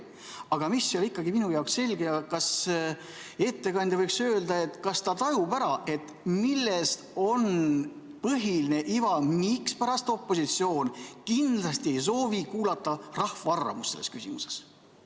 Aga mis ikkagi minu jaoks selge ei ole: kas ettekandja võiks öelda, kas ta tajub ära, milles on põhiline iva, mispärast opositsioon kindlasti ei soovi kuulata rahva arvamust selles küsimuses?